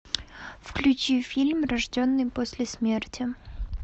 включи фильм рожденный после смерти